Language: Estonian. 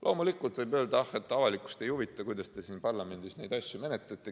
Loomulikult võib öelda, et avalikkust ei huvita, kuidas te siin parlamendis neid asju menetlete.